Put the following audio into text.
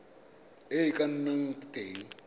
e e ka nnang teng